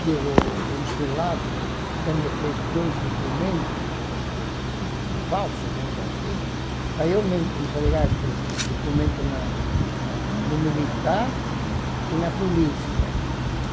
que o consulado até me fez dois documentos, um falso, vamos dizer assim, para eu me entregar esse documento na na no militar e na polícia.